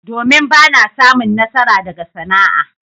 Domin! Ba na samun nasara daga sana'a.